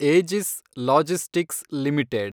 ಏಜಿಸ್ Logistics limited